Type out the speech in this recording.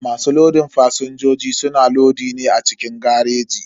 Masu lodin fasinjoji suna lodi ne a cikin gareji.